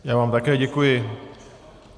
Já vám také děkuji.